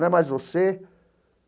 Não é mais você?